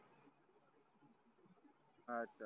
अच्छा